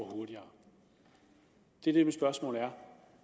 hurtigere det er mit spørgsmål er